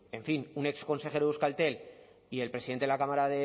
en fin un exconsejero de euskaltel y el presidente de la cámara